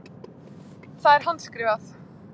Það er handskrifað.